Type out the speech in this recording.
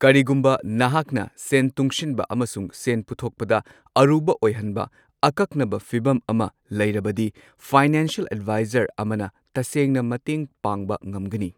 ꯀꯔꯤꯒꯨꯝꯕ ꯅꯍꯥꯛꯅ ꯁꯦꯟ ꯇꯨꯡꯁꯤꯟꯕ ꯑꯃꯁꯨꯡ ꯁꯦꯟ ꯄꯨꯊꯣꯛꯄꯗ ꯑꯔꯨꯕ ꯑꯣꯏꯍꯟꯕ ꯑꯀꯛꯅꯕ ꯐꯤꯚꯝ ꯑꯃ ꯂꯩꯔꯕꯗꯤ, ꯐꯥꯏꯅꯦꯟꯁꯤꯌꯜ ꯑꯦꯗꯚꯥꯏꯖꯔ ꯑꯃꯅ ꯇꯁꯦꯡꯅ ꯃꯇꯦꯡ ꯄꯥꯡꯕ ꯉꯝꯒꯅꯤ꯫